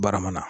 Barama na